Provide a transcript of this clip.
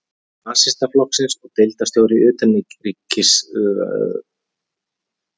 Nasistaflokksins og deildarstjóri í utanríkisráðuneytinu, hafði snemma gengið honum á hönd.